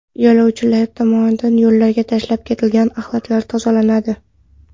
Yo‘lovchilar tomonidan yo‘llarga tashlab ketilgan axlatlar tozalanadi.